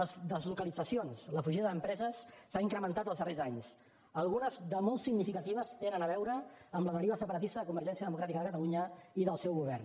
les deslocalitzacions la fugida d’empreses s’han incrementat els darrers anys algunes de molt significatives tenen a veure amb la deriva separatista de convergència democràtica de catalunya i del seu govern